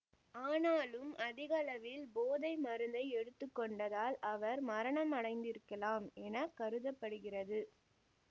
ஆனாலும் அதிகளவில் போதை மருந்தை எடுத்து கொண்டதால் அவர் மரணமடைந்திருக்கலாம் என கருத படுகிறது